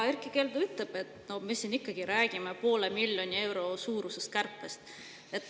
Erkki Keldo ütleb, et no me räägime siin ikkagi poole miljoni euro suurusest kärpest.